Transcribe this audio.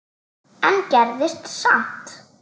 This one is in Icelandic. en gerðist samt.